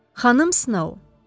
Xanım Snow.